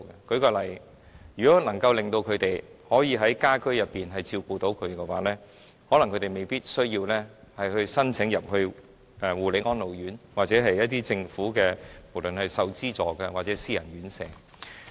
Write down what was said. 舉例說，如果他們能夠照顧殘疾家人的日常生活，他們可能未必需要申請護理安老院，或政府資助的院舍或沒有政府資助的私人院舍。